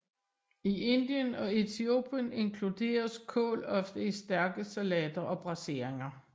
I Indien og Etiopien inkluderes kål ofte i stærke salater og braseringer